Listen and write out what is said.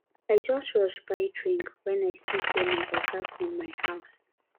i just rush buy drink wen i see sey my oga come my house